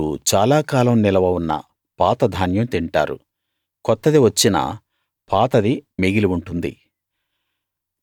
మీరు చాలా కాలం నిలవ ఉన్న పాత ధాన్యం తింటారు కొత్తది వచ్చినా పాతది మిగిలి ఉంటుంది